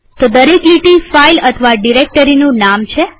તો દરેક લીટી ફાઈલ અથવા ડિરેક્ટરીનું નામ છે